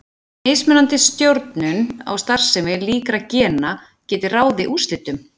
Mismunandi stjórnun á starfsemi líkra gena gæti ráðið úrslitum.